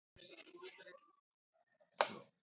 Ég hnita, þeir kroppa.